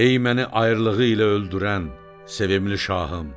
Ey məni ayrılığı ilə öldürən, sevimli şahım!